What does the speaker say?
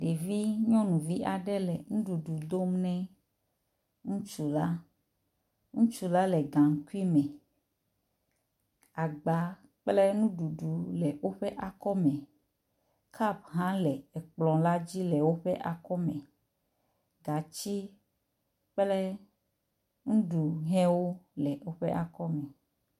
Ɖevi nyɔnuvi aɖe le nuɖuɖu dom ne ŋutsua. Ŋutsu a le gaŋkui me. Agba kple nuɖuɖu le woƒe akɔme, kapu hã le ekplɔ la dzi le woƒe akɔme, gatsi kple nuɖuhɛwo le woƒe akɔme.